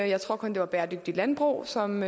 jeg tror kun det var bæredygtigt landbrug som